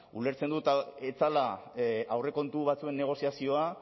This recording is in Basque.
ulertzen dut ez zela aurrekontu batzuen negoziazioa